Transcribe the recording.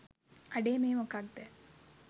අඩේ මේ මොකක්ද